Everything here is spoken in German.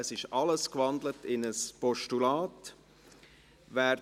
Es wurde alles in ein Postulat gewandelt.